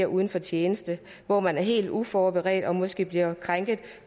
uden for tjenesten hvor man er helt uforberedt og måske bliver krænket